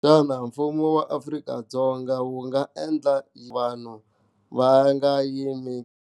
Xana mfumo wa Afrika-Dzonga wu nga endla vanhu va nga yimi.